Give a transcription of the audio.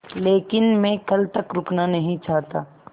लेकिन मैं कल तक रुकना नहीं चाहता